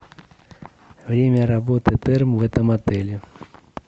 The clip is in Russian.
время работы терм в этом отеле